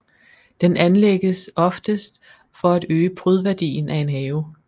Den anlægges oftest for at øge prydværdien af en have